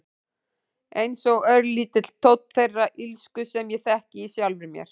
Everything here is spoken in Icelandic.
Einsog örlítill tónn þeirrar illsku sem ég þekki í sjálfri mér.